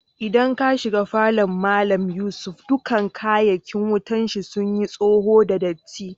Idan ka shiga falon Mallam Yusuf dukan kayakin wutan shi sun yi soho da datti.